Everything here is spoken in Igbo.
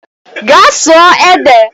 Gaa sụọ ede!